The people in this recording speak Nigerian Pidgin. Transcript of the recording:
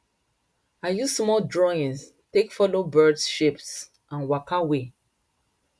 i use small drawings take follow birds shapes and waka way